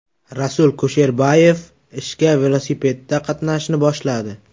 Rasul Kusherbayev ishga velosipedda qatnashni boshladi.